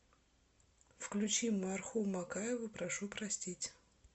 включи марху макаеву прошу простить